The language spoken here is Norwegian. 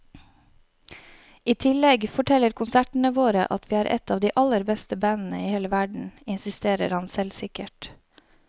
I tillegg forteller konsertene våre at vi er et av de aller beste bandene i hele verden, insisterer han selvsikkert.